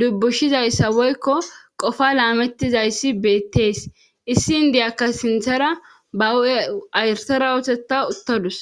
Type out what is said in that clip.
dubbushizayssa woykko qofa laamettizayssi beettees issi indiyakka sinthara bawu7e ayrsara ootetta uttodus